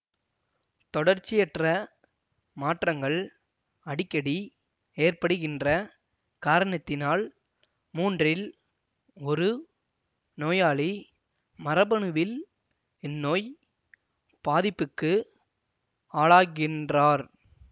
தொடர்ச்சியற்ற மாற்றங்கள் அடிக்கடி ஏற்படுகின்ற காரணத்தினால் மூன்றில் ஒரு நோயாளி மரபணுவில் இந்நோய் பாதிப்புக்கு ஆளாகின்றார்